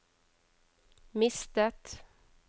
mistet